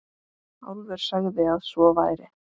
Álfur sagði að svo væri.